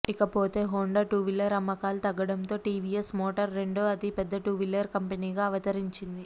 ఇకపోతే Honda two wheeler అమ్మకాలు తగ్గడంతో టీవీఎస్ మోటార్ రెండో అతిపెద్ద టూవీలర్ కంపెనీగా అవతరించింది